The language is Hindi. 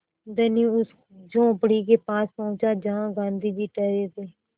धनी उस झोंपड़ी के पास पहुँचा जहाँ गाँधी जी ठहरे थे